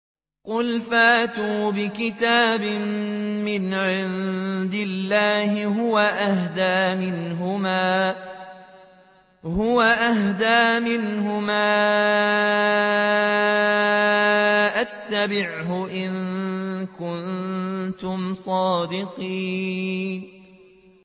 قُلْ فَأْتُوا بِكِتَابٍ مِّنْ عِندِ اللَّهِ هُوَ أَهْدَىٰ مِنْهُمَا أَتَّبِعْهُ إِن كُنتُمْ صَادِقِينَ